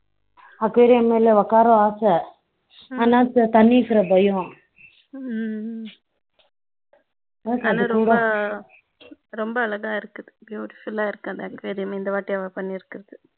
ஆனால் தண்ணியிருக்கிற பயம் ஆனா ரொம்ப ரொம்ப அழகா இருக்குபியூட்டிஃபுல்லா இருக்கு அந்த ஆகியோரையும் இந்த தடவை அவ பியூட்டிஃபுல்லா பண்ணி இருக்கேன் அழகா பண்ணி இருக்கான்